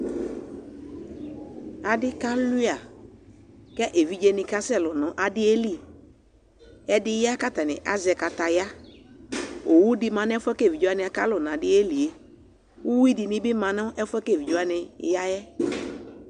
ɑɖikɑluɑ ké ɛvidzɛ kɑsɛlu ɲɑɗiɛli ɛɖiyɑ kɑtɑɲi ɑzɛkɑtɑyɑ õwωḍimɑ ṅɛfuɛ kɛvidzɛ kɑlω nɑɗiɛliɛ ωhuiɗi mɑ ɲɛfuɛ kɛvidzɛwɑniyɑɛ